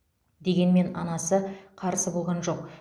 дегенмен анасы қарсы болған жоқ